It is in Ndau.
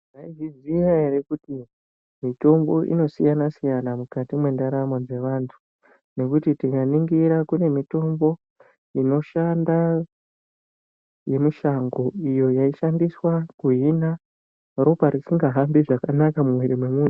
Maizviziya here kuti mitombo inosiyana-siyana mukati mwendaramo dzevantu. Nekuti tikaningira kune mitombo inoshanda yemushango iyo yaishandiswa kuhina ropa risingahambi zvakanaka mumwiiri mwemuntu.